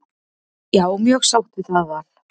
Já, mjög sátt við það val.